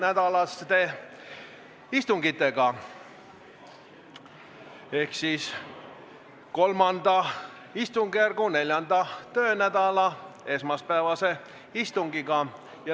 Alustame III istungjärgu 4. töönädala esmaspäevast istungit.